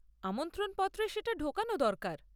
আমন্ত্রণপত্রে সেটা ঢোকানো দরকার।